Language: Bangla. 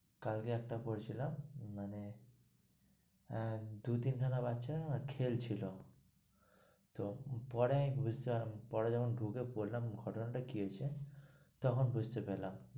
কালকে একটা পড়ছিলাম মানে দু তিন খানা বাচ্চা খেলছিল তো পরে বুঝতে পরে যখন ঢুকে পড়লাম, ঘটনা টা কি হয়েছে তখন বুঝতে পারলাম।